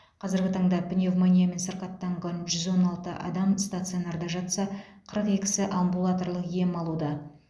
қазіргі таңда пневмониямен сырқаттанған жүз он алты адам стационарда жатса қырық екісі амбулаторлық ем алуда